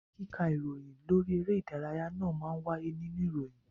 Kíka ìròyìn lórí eré ìdárayá náà má ń wáyé nínú ìròyìn